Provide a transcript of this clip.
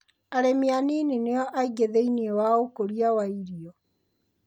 Arĩmi a nini nĩ o aingĩ thĩiniĩ waũkũria wa irio.